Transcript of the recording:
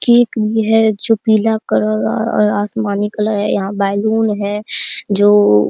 cake भी है जो पीला कलर ओ-और आसमानी कलर है यहां बैलून है जो --